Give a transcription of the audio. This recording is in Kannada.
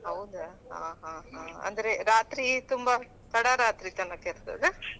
ಹೌದಾ ಹಾ ಹಾ ಹಾ ಅಂದ್ರೆ ರಾತ್ರಿ ತುಂಬಾ ತಡ ರಾತ್ರಿ ತನಕ ಇರ್ತದ.